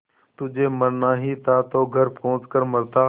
तुझे मरना ही था तो घर पहुँच कर मरता